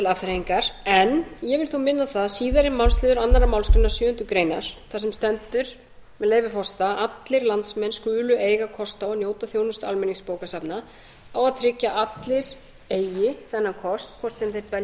afþreyingar en ég vil þó minna á það að síðari málsliður annarri málsgrein sjöundu greinar þar sem stendur með leyfi forseta allir landsmenn skulu eiga kost á að njóta þjónustu almenningsbókasafna og að tryggja að allir eigi þennan kost hvort sem þeir dvelja á